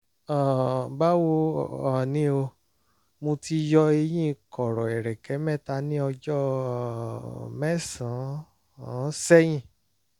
um báwo um ni o? mo ti yọ eyín kọ̀rọ̀ ẹ̀rẹ̀kẹ́ mẹ́ta ní ọjọ́ um mẹ́sàn-án sẹ́yìn